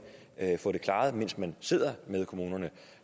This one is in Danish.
få det klaret mens man sidder med kommunerne